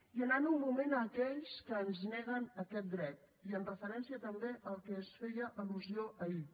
i anant un moment a aquells que ens neguen aquest dret i en referència també a allò a què es feia al·lusió ahir